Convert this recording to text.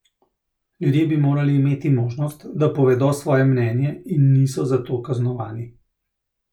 Ljudje bi morali imeti možnost, da povedo svoje mnenje in niso za to kaznovani.